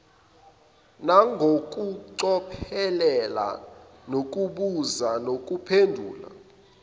nangokucophelela nokubuza nokuphendula